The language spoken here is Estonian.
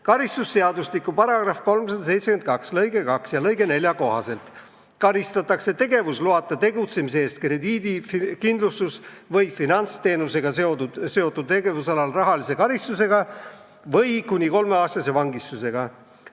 Karistusseadustiku § 372 lg 2 ja 4 kohaselt karistatakse tegevusloata tegutsemise eest krediidi-, kindlustus- või finantsteenusega seotud tegevusalal rahalise karistusega või kuni kolmeaastase vangistusega.